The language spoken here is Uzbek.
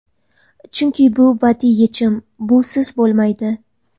Chunki bu badiiy yechim, busiz bo‘lmaydi.